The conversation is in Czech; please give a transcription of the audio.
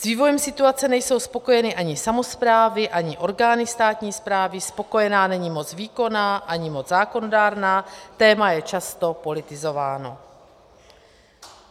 S vývojem situace nejsou spokojeny ani samosprávy, ani orgány státní správy, spokojena není moc výkonná ani moc zákonodárná, téma je často politizováno.